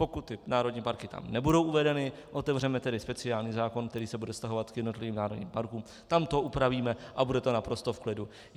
Pokud ty národní parky tam nebudou uvedeny, otevřeme tedy speciální zákon, který se bude vztahovat k jednotlivým národním parkům, tam to upravíme a bude to naprosto v klidu.